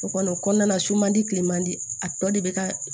O kɔni o kɔnɔna na su man di kileman di a tɔ de bɛ ka